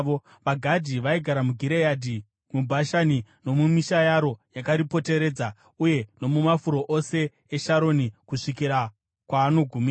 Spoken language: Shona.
VaGadhi vaigara muGireadhi, muBhashani nomumisha yaro yakaripoteredza, uye nomumafuro ose eSharoni kusvikira kwaanogumira.